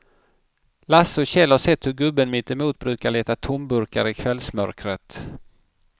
Lasse och Kjell har sett hur gubben mittemot brukar leta tomburkar i kvällsmörkret.